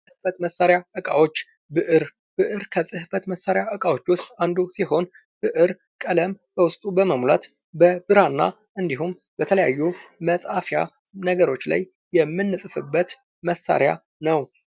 የጽህፈት መሳሪያ እቃዎች። ብዕር። ብዕር ከፅህፈት መሳሪያ እቃዎች አንዱ ሲሆን ብዕር ቀለም በውስጡ በመሙላት በብራና እንዲሁም በተለያዩ መጽሐፊያ ነገሮች ላይ የምንጽፍበት መሳሪያ ነው።